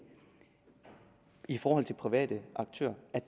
i forhold til private aktører